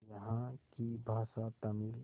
यहाँ की भाषा तमिल